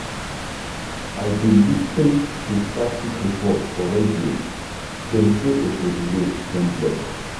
I dey lis ten to traffic report for radio, dem say Oshodi road don block.